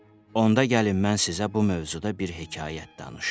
Onda gəlin mən sizə bu mövzuda bir hekayət danışım.